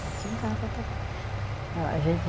Faço em casa também, a gente